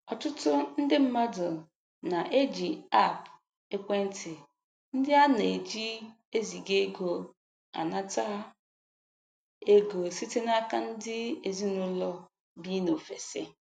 Ọtụtụ ndị mmadụ na-eji aapụ ekwentị ndị a na-eji eziga ego anata ego site n'aka ndị ezinaụlọ bi n'ofesi.